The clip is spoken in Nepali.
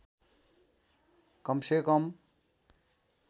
कम से कम